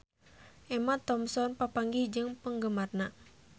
Emma Thompson papanggih jeung penggemarna